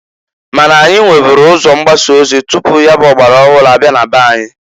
Ma na anyị nweburu ụzọ mgbasa ozi tupu ya bụ ọgbara ọhụrụ abịa na-be anyị.